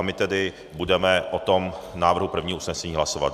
A my tedy budeme o tom návrhu prvního usnesení hlasovat.